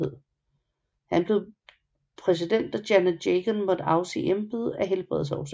Han blev præsident da Janet Jagan måtte afsige embedet af helbredsgrunde